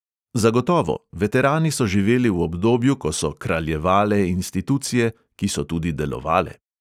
Zagotovo, veterani so živeli v obdobju, ko so "kraljevale" institucije, ki so tudi delovale.